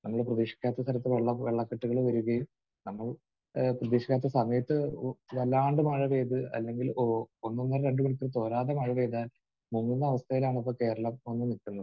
നമ്മൾ പ്രതീക്ഷിക്കാത്ത തരത്തിൽ വെള്ളക്കെട്ടുകൾ വരുകയും നമ്മൾ ഏഹ് പ്രതീക്ഷിക്കാത്ത സമയത്ത് വല്ലാണ്ട് മഴ പെയ്ത് അല്ലെങ്കിൽ ഒന്ന് ഒന്നര രണ്ട് മണിക്കൂർ തോരാതെ മഴ പെയ്താൽ മുങ്ങുന്ന അവസ്ഥയിലാണ് ഇപ്പോൾ കേരളം ഇപ്പോൾ വന്ന് നിൽക്കുന്നത്.